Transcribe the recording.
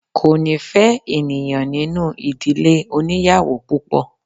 Ko ni fe ènìyàn nínú ìdílé oniyawo púpò